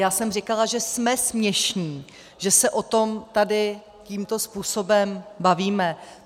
Já jsem říkala, že jsme směšní, že se o tom tady tímto způsobem bavíme.